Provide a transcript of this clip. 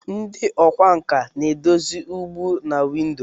Ndị ọkwá nkà na-edozi ụgbụ na windo.